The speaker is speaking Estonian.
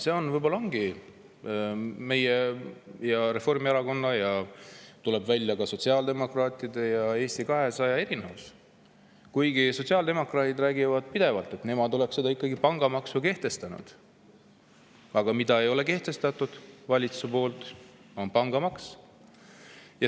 See võib-olla ongi meie erinevus Reformierakonnast ning tuleb välja, ka sotsiaaldemokraatidest ja Eesti 200‑st. Sotsiaaldemokraadid räägivad pidevalt, et nemad oleksid ikkagi pangamaksu kehtestanud, aga see, mida ei ole valitsus kehtestanud, on pangamaks.